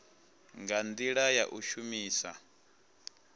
nga ndila ya u shumisa